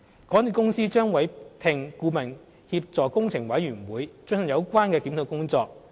港鐵公司將委聘顧問協助工程委員會進行有關檢討工作。